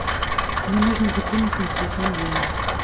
мне нужно закинуть на телефон деньги